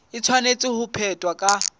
e tshwanetse ho phethwa ka